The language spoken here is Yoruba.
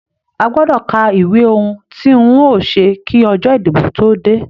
A gbọdọ ká ìwé ohùn tí n o ṣe kí ọjọ ìdìbò tó dé.